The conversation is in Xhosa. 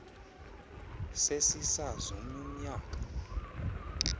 sesisaz omny umnyak